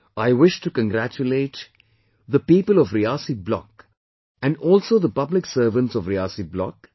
I wish to congratulate the people of Riyasi Block and also the public servants of Riyasi Block